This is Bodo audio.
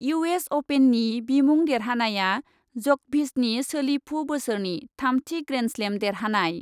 इउएस अपेननि बिमुं देरहानाया जकभिचनि सोलिफु बोसोरनि थामथि ग्रेन्डस्लेम देरहानाय ।